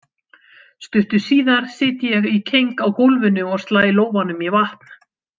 Stuttu síðar sit ég í keng á gólfinu og slæ lófanum í vatn.